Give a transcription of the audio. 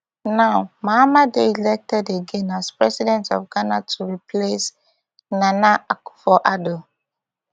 now mahama dey elected again as president of ghana to replace nana akufo addo